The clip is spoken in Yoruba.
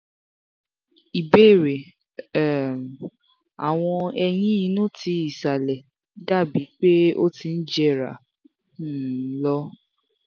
ìbéèrè: um awọn eyín inú ti ìsàlẹ̀ dabi pe o ti ń jera um lo